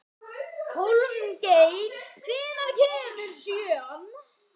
Hólmgeir, hvenær kemur sjöan?